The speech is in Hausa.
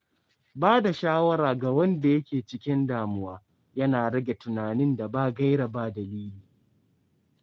Ba da shawara ga wanda yake cikin damuwa yana rage tunanin da ba gaira ba dalili.